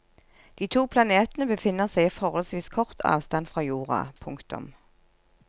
De to planetene befinner seg i forholdsvis kort avstand fra jorda. punktum